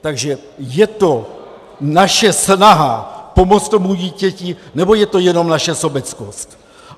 Takže je to naše snaha pomoci tomu dítěti, nebo je to jenom naše sobeckost?